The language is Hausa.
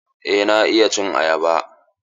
Eh na iya cin ayaba.